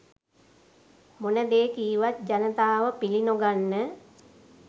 මොන දේ කීවත් ජනතාව පිලි නොගන්න